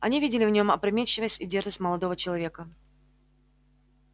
они видели в нем опрометчивость и дерзость молодого человека